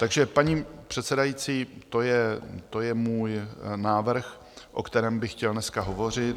Takže paní předsedající, to je můj návrh, o kterém by chtěl dneska hovořit.